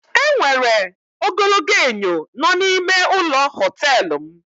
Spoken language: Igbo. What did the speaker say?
E nwere ogologo enyo nọ n'ime ụlọ họtelụ m.